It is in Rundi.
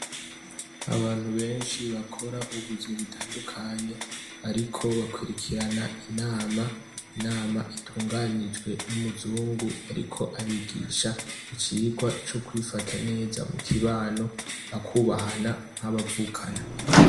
Abantu benshi bakora ubuzi butandukanye bariko bakwirikirana inama, inama itunganijwe n'umuzungu ariko abigisha icigwa co kwifata neza mu kibano bakubahana nk'abavukana.